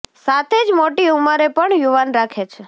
સાથે જ મોટી ઉંમરે પણ યુવાન રાખે છે